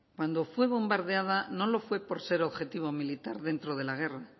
cuando fue bombardeado no lo fue por ser objetivo militar dentro de la guerra